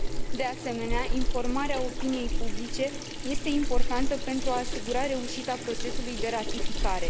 De asemenea, informarea opiniei publice este importantă pentru a asigura reușita procesului de ratificare.